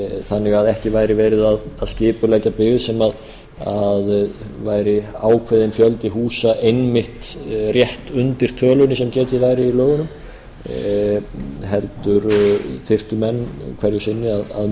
þannig að ekki væri verið að skipuleggja byggð sem væri ákveðinn fjöldi húsa einmitt rétt undir tölunni sem gæti í lögunum heldur þyrftu menn hverju sinni að